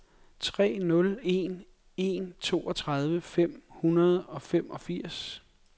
tre nul en en toogtredive fem hundrede og femogfirs